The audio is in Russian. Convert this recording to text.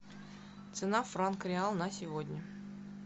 цена франк реал на сегодня